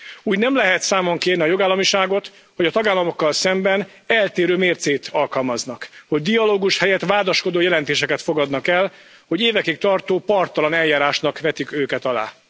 Úgy nem lehet számon kérni a jogállamiságot, hogy a tagállamokkal szemben eltérő mércét alkalmaznak, hogy dialógus helyett vádaskodó jelentéseket fogadnak el, hogy évekig tartó parttalan eljárásnak vetik őket alá.